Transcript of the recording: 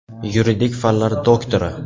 Yuridik fanlar doktori.